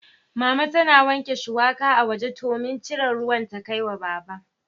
Mama tana wanke shuwaka a waje domin cire ruwan ta kai wa Baba.